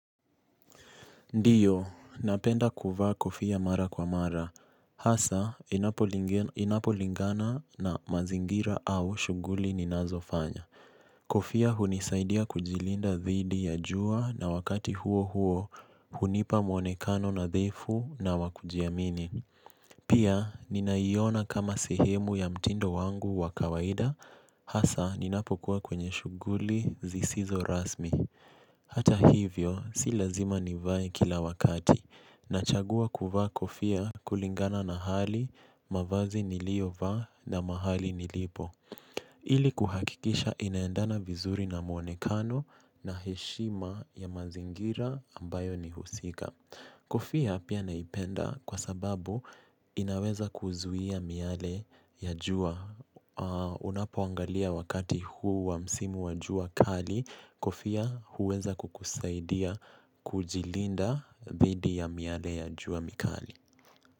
Ndiyo, napenda kuvaa kofia mara kwa mara, hasaa inapolingana na mazingira au shughuli ninazofanya. Kofia hunisaidia kujilinda dhidi ya jua na wakati huo huo hunipa mwonekano nadhifu na wa kujiamini. Pia, ninaiona kama sehemu ya mtindo wangu wa kawaida, hasaa ninapokuwa kwenye shughuli zisizo rasmi. Hata hivyo, si lazima nivae kila wakati. Nachagua kuvaa kofia kulingana na hali, mavazi niliovaa na mahali nilipo. Ili kuhakikisha inaendana vizuri na muonekano na heshima ya mazingira ambayo nahusika. Kofia pia naipenda kwa sababu inaweza kuzuia miale ya jua. Unapoangalia wakati huu wa msimu wa jua kali, kofia huweza kukusaidia kujilinda dhidi ya miale ya jua mikali.